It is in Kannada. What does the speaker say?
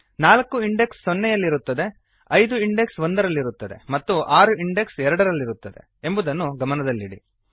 ನಾಲ್ಕು ಇಂಡೆಕ್ಸ್ ಸೊನ್ನೆಯಲ್ಲಿರುತ್ತದೆ ಐದು ಇಂಡೆಕ್ಸ್ ಒಂದರಲ್ಲಿರುತ್ತದೆ ಮತ್ತು ಆರು ಇಂಡೆಕ್ಸ್ ಎರಡರಲ್ಲಿರುತ್ತದೆ ಎಂಬುದನ್ನು ಗಮನದಲ್ಲಿಡಿ